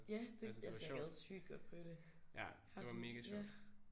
Ja det altså jeg gad sygt godt prøve det har sådan ja